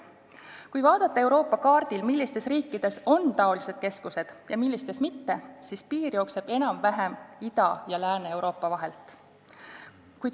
Kui vaadata Euroopa kaardil, millistes riikides on sellised keskused ja millistes mitte, siis selgub, et piir jookseb enam-vähem Ida- ja Lääne-Euroopa vahelt.